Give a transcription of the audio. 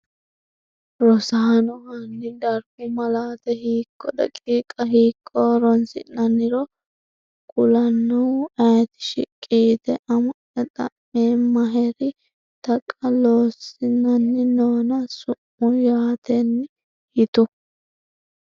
Rosaano, hanni darbu malaate hiikko daqiiqa hiikko horoonsi’nanniro kulannoehu ayeeti? shiqqi yite “Ama’ya xa’meemmaheri Taqa Loossinanni noona sumuu yaattaeni yitu?